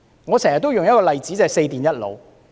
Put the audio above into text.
我經常用的例子是"四電一腦"。